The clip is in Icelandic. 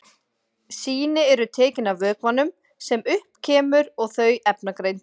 Sýni eru tekin af vökvanum sem upp kemur og þau efnagreind.